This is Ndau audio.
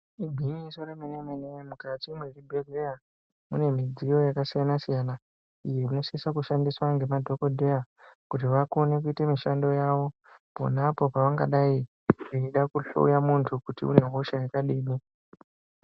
Igwinyiso remene mene mukati mwezvibhleya munemidziyo yakasiyana siyana iyi inosisa kushandiswa ngemadhokodheya kuti vakone kuite mushando wavo ponapo pavanenge veida kuhloya muntu kuti une hosha yakadini.